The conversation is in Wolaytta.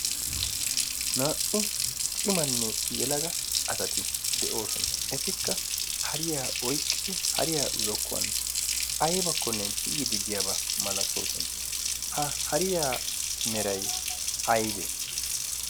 naa'u cimanne yelaga asati de'oosona efikka hariyaa oiqqidi hariyaa zokkuwan aibakkonne tiyyi diddiyaabaa malatoosona. ha hariyaa merai aibee?